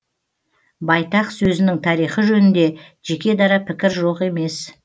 байтақ сөзінің тарихы жөнінде жеке дара пікір жоқ емес